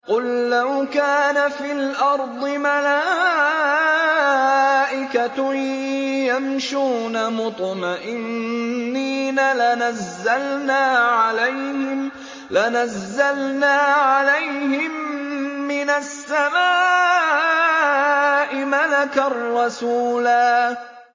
قُل لَّوْ كَانَ فِي الْأَرْضِ مَلَائِكَةٌ يَمْشُونَ مُطْمَئِنِّينَ لَنَزَّلْنَا عَلَيْهِم مِّنَ السَّمَاءِ مَلَكًا رَّسُولًا